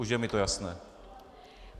Už je mi to jasné.